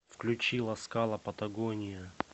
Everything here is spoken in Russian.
включи ласкала патагония